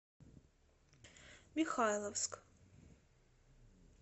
михайловск